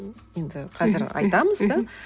енді қазір айтамыз да